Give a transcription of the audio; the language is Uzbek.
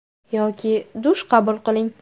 Yoki dush qabul qiling.